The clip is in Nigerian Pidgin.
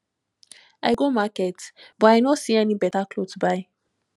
i go market but i know see any beta cloth buy